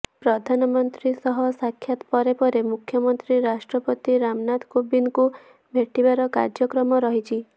ପ୍ରଧାନମନ୍ତ୍ରୀ ସହ ସାକ୍ଷାତ ପରେ ପରେ ମୁଖ୍ୟମନ୍ତ୍ରୀ ରାଷ୍ଟ୍ରପତି ରାମନାଥ କୋବିନ୍ଦଙ୍କୁ ଭେଟିବାର କାର୍ଯ୍ୟକ୍ରମ ରହିଛି